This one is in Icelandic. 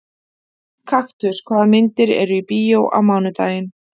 Kaktus, hvaða myndir eru í bíó á mánudaginn?